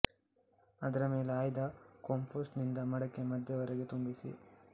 ಅದರ ಮೇಲೆ ಆಯ್ದ ಕೊಂಪೋಸ್ಟ್ ನಿಂದ ಮಡಕೆಯ ಮಧ್ಯದವರೆಗೆ ತುಂಬಿಸಿ